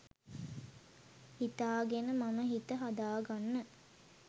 හිතාගෙන මම හිත හදාගන්න